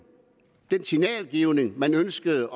den signalgivning man ønskede